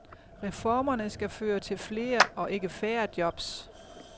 Reformerne skal føre til flere og ikke færre jobs.